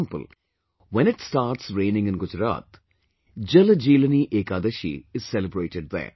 For example, when it starts raining in Gujarat, JalJeelani Ekadashi is celebrated there